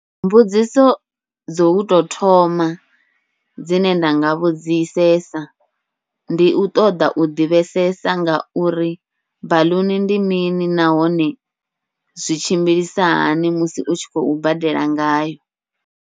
Mbudziso dzo utou thoma dzine nda nga vhudzisesa, ndi u ṱoḓa u ḓivhesesa ngauri baḽuni ndi mini nahone zwi tshimbilisa hani musi u tshi khou badela ngayo.